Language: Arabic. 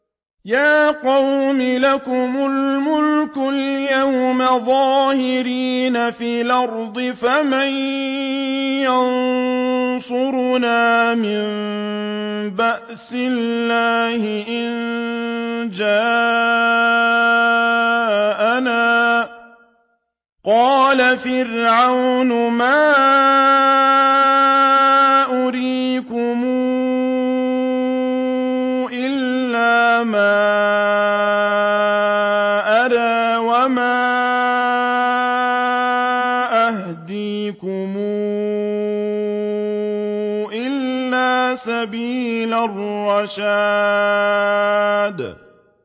يَا قَوْمِ لَكُمُ الْمُلْكُ الْيَوْمَ ظَاهِرِينَ فِي الْأَرْضِ فَمَن يَنصُرُنَا مِن بَأْسِ اللَّهِ إِن جَاءَنَا ۚ قَالَ فِرْعَوْنُ مَا أُرِيكُمْ إِلَّا مَا أَرَىٰ وَمَا أَهْدِيكُمْ إِلَّا سَبِيلَ الرَّشَادِ